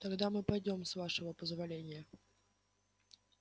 тогда мы пойдём с вашего позволения